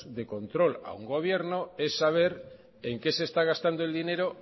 de control a un gobierno es saber en qué se está gastando el dinero